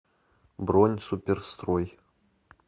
бронь суперстрой